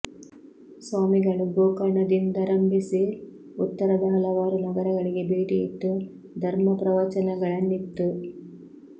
ಸ್ವಾಮಿಗಳು ಗೋಕರ್ಣದಿಂದರಂಭಿಸಿ ಉತ್ತರದ ಹಲವಾರು ನಗರಗಳಿಗೆ ಭೇಟಿ ಇತ್ತು ಧರ್ಮ ಪ್ರವಚನಗಳನ್ನಿತ್ತು